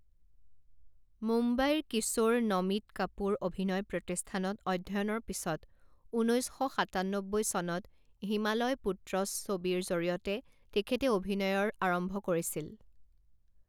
মুম্বাইৰ কিশোৰ নমিত কাপুৰ অভিনয় প্ৰতিষ্ঠানত অধ্যয়নৰ পিছত ঊনৈছ শ সাতান্নব্বৈ চনত হিমালয় পুত্ৰসছবিৰ জৰিয়তে তেখেতে অভিনয়ৰ আৰম্ভ কৰিছিল।